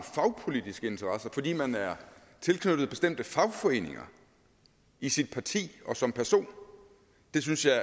fagpolitiske interesser og fordi man er tilknyttet bestemte fagforeninger i sit parti og som person det synes jeg